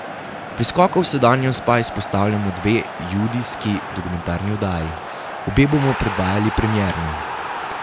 Pri skoku v sedanjost pa izpostavljamo dve junijski dokumentarni oddaji, obe bomo predvajali premierno.